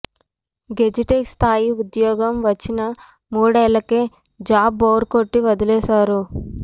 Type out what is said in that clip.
గెజిటెగ్ స్థాయి ఉద్యోగం వచ్చినా మూడేళ్లకే జాబ్ బోర్ కొట్టి వదిలేశారు